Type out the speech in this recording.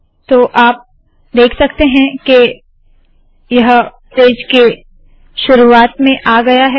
तो आप देख सकते है के यह पेज के शुरुवात में आ गया है